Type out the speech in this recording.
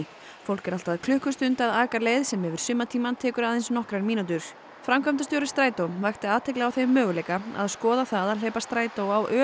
fólk er allt að klukkustund að aka leið sem yfir sumartímann tekur aðeins nokkrar mínútur framkvæmdastjóri Strætó vakti athygli á þeim möguleika að skoða það að hleypa strætó á